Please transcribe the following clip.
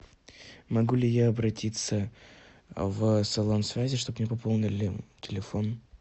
могу ли я обратиться в салон связи чтобы мне пополнили телефон